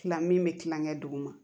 Tila min bɛ tilakɛ duguma